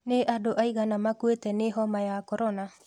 Nĩ andũ aigana makũĩte nĩ homa ya korona